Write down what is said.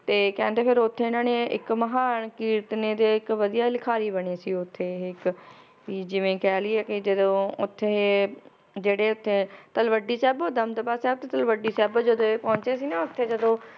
ਤੇ ਕਹਿੰਦੇ ਫਿਰ ਓਥੇ ਇਹਨਾਂ ਨੇ ਇੱਕ ਮਹਾਨ ਕੀਰਤਨੀਏ ਤੇ ਇੱਕ ਵਧੀਆ ਲਿਖਾਰੀ ਬਣੇ ਸੀ ਓਥੇ ਇਹ ਇੱਕ ਵੀ ਜਿਵੇ ਕਹਿ ਲਇਏ ਕਿ ਜਦੋਂ ਓਥੇ ਜਿਹੜੇ ਓਥੇ ਤਲਵੱਡੀ ਸਾਹਿਬ, ਦਮਦਮਾ ਸਾਹਿਬ, ਤੇ ਤਲਵੱਡੀ ਸਾਬੋ ਜਦੋ ਇਹ ਪਹੁੰਚੇ ਸੀ ਨਾ ਓਥੇ ਜਦੋ